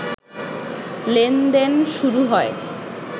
লেনদেন শুরু হয়